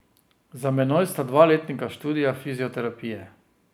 Za menoj sta dva letnika študija fizioterapije.